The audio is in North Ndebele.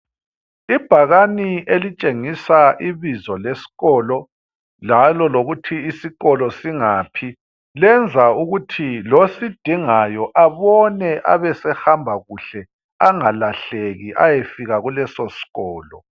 Ibhakani elitshengisa ibizo leskolo njalo lokuthi isikolo singaphi. Lenza ukuthi losidingayo abone abesehamba kuhle angalahleki ayefika kulesoskolo.